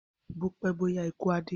Bó pẹ bó yá ikù á dé